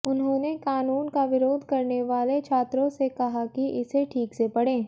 उन्होंने कानून का विरोध करने वाले छात्रों से कहा कि इसे ठीक से पढ़ें